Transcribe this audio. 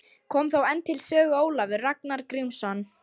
Kom þá enn til sögu Ólafur Ragnar Grímsson.